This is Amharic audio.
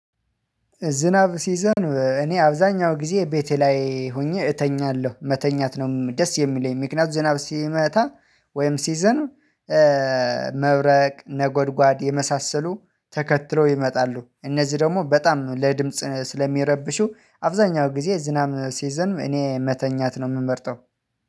ዝናብ ሲዘንብ እኔ አብዛኛው ጊዜ ቤቴ ላይ ሆኜ እተኛለሁ መተኛት ነው ደስ የሚለኝ ምክንያቱም ዝናብ ሲመታ ወይም ሲዘንብ መብረቅ ነጎድጓድ የመሳሰሉ ተከትሎ ይመጣሉ እነዚህ ደግሞ በጣም ለድምጽ ስለሚረብሹ አብዛኛው ጊዜ ዝናብ ሲዘንም እኔ መተኛት ነው የምመርጠው።